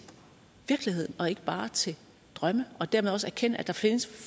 virkeligheden og ikke bare til drømme og dermed også erkende at der findes